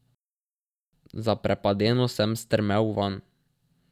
Zaprepadeno sem strmel vanj.